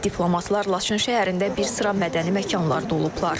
Diplomatlar Laçın şəhərində bir sıra mədəni məkanlarda olublar.